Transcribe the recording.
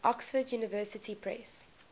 oxford university press